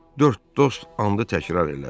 Dörd dost andı təkrar elədi.